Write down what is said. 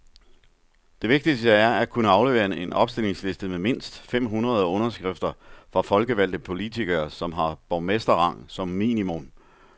Det vigtigste er at kunne aflevere en opstillingsliste med mindst fem hundrede underskrifter fra folkevalgte politikere, som har borgmesterrang som minimum.